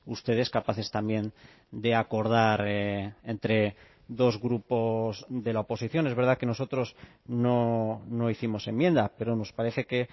ustedes capaces también de acordar entre dos grupos de la oposición es verdad que nosotros no hicimos enmienda pero nos parece que